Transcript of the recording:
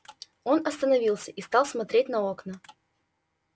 он остановился и стал смотреть на окна